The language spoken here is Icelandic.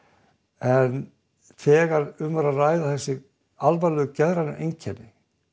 en þegar um er að ræða alvarleg geðræn einkenni